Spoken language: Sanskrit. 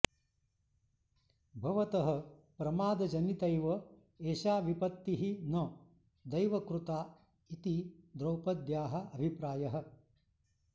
भवतः प्रमादजनितैव एषा विपत्तिः न दैवकृता इति द्रौपद्याः अभिप्रायः